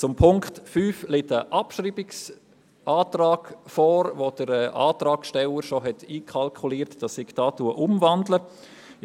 Zum Punkt 5 liegt ein Abschreibungsantrag vor, in dem der Antragssteller bereits einkalkuliert hat, dass ich den Punkt hier umwandeln werde.